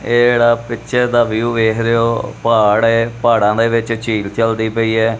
ਇਹ ਜਿਹੜਾ ਪਿਚਰ ਦਾ ਵਿਊ ਵੇਖ ਰਹੇ ਹੋ ਪਹਾੜ ਹੈ ਪਹਾੜਾਂ ਦੇ ਵਿੱਚ ਝੀਲ ਚਲਦੀ ਪਈ ਹੈ।